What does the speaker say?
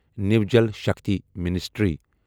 نیو Jal Shakti ministry